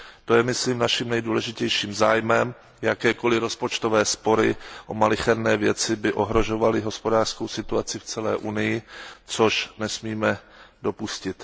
To je myslím naším nejdůležitějším zájmem, jakékoli rozpočtové spory o malicherné věci by ohrožovaly hospodářskou situaci v celé Unii, což nesmíme dopustit.